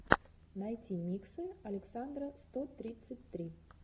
найти миксы александра сто тридцать три